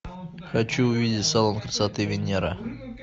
хочу увидеть салон красоты венера